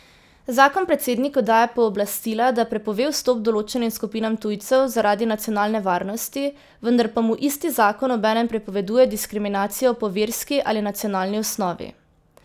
Zakon predsedniku daje pooblastila, da prepove vstop določenim skupinam tujcev zaradi nacionalne varnosti, vendar pa mu isti zakon obenem prepoveduje diskriminacijo po verski ali nacionalni osnovi.